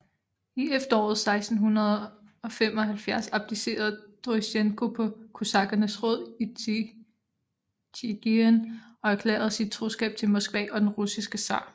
I efteråret 1675 abdicerede Dorosjenko på kosakkernes råd i Tjigirin og erklærede sin troskab til Moskva og den russiske zar